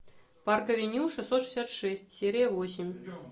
парк авеню шестьсот шестьдесят шесть серия восемь